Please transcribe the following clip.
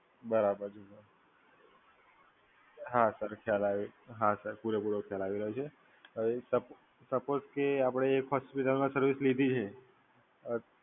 બરાબર, હા સર ખ્યાલ આવે, હા સર પૂરેપૂરો ખ્યાલ આવી રહ્યો છે. હવે સપોઝ કે આપડે એક હોસ્પિટલમાં સર્વિસ લીધી છે.